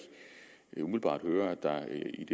umiddelbart høre at der